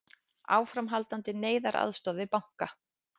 Áframhaldandi neyðaraðstoð við banka